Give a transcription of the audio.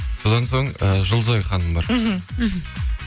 содан соң і жұлдызай ханым бар мхм мхм